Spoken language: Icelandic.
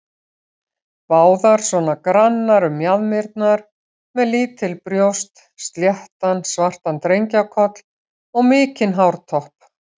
Báðar svona grannar um mjaðmirnar, með lítil brjóst, sléttan, svartan drengjakoll og mikinn hártopp.